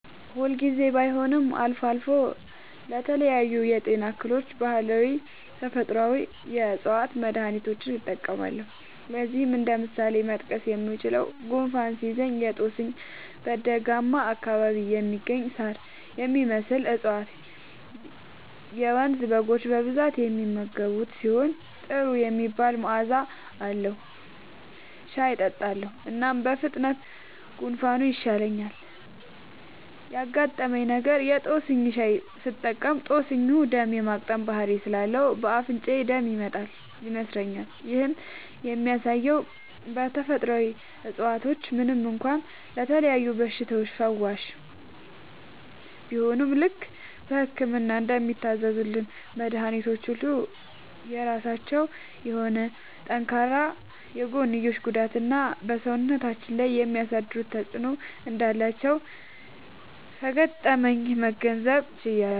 ሁል ጊዜ ባይሆንም አልፎ አልፎ ለተለያዩ የጤና እክሎች ባህላዊና ተፈጥአዊ የ ዕፅዋት መድሀኒቶችን እጠቀማለሁ። ለዚህም እንደ ምሳሌ መጥቀስ የምችለው፣ ጉንፋን ሲይዘኝ የ ጦስኝ (በደጋማ አካባቢ የሚገኝ ሳር የሚመስል እፀዋት - የመንዝ በጎች በብዛት የሚመገቡት ሲሆን ጥሩ የሚባል መዐዛ አለዉ) ሻይ እጠጣለሁ። እናም በፍጥነት ጉንፋኑ ይሻለኛል። ያጋጠመኝ ነገር:- የ ጦስኝ ሻይ ስጠቀም ጦስኙ ደም የ ማቅጠን ባህሪ ስላለው በ አፍንጫዬ ደም ይመጣል (ይነስረኛል)። ይህም የሚያሳየው ተፈጥሮአዊ እፀዋቶች ምንም እንኳ ለተለያዩ በሽታዎች ፈዋሽ ቢሆኑም፣ ልክ በህክምና እንደሚታዘዙልን መድኃኒቶች ሁሉ የራሳቸው የሆነ ጠንካራ የጎንዮሽ ጉዳትና በ ሰውነታችን ላይ የሚያሳድሩት ተጵዕኖ እንዳላቸው ከገጠመኜ መገንዘብ ችያለሁ።